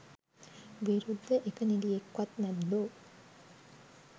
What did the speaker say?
විරුද්ධ එක නිළියෙක්වත් නැද්දෝ.?